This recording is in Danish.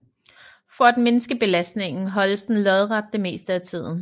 For at mindske belastningen holdes den lodret det meste af tiden